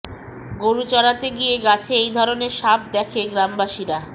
গরু চরাতে গিয়ে গাছে এই ধরনের সাপ দেখে গ্রামবাসীরা